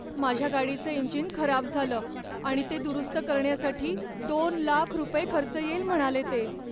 माझ्या गाडीचं इंजिन खराब झालं आणि ते दुरुस्त करण्यासाठी दोन लाख रुपये खर्च येईल म्हणाले ते.